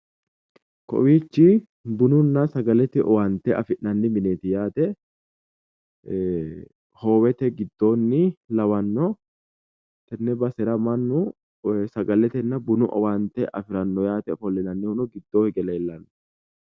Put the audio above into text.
Kowiichi bununna sagalete owaante afi'nanni mineeti yaate hoowete giddoonni lawannno tenne basera mannu koye sagaletenna bunu owaante afiranno yaate ofollinannihuno gidoo hige leellanno